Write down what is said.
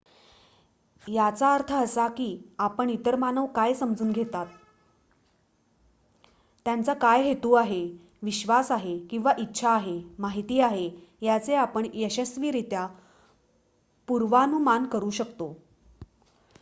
याचा अर्थ असा की आपण इतर मानव काय समजून घेतात त्यांचा काय हेतु आहे विश्वास आहे किंवा इच्छा आहे माहिती आहे याचे आपण यशस्वीरित्या पूर्वानुमान करू शकतो